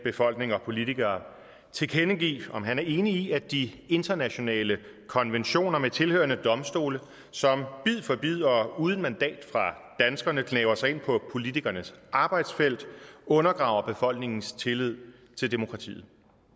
befolkning og politikere tilkendegive om han er enig i at de internationale konventioner med tilhørende domstole som bid for bid og uden mandat fra danskerne gnaver sig ind på politikernes arbejdsfelt undergraver befolkningens tillid til demokratiet